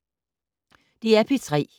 DR P3